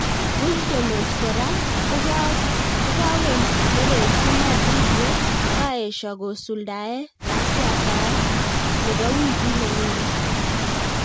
puigdemont kora kokakonereksi Madrid ye kaesyo kosuldae katyataet nebo wikit nekonye.